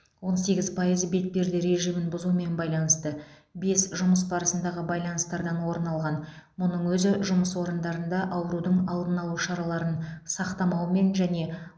он сегіз пайызы бетперде режимін бұзумен байланысты бес жұмыс барысындағы байланыстардан орын алған мұның өзі жұмыс орындарында аурудың алдын алу шараларын сақтамаумен және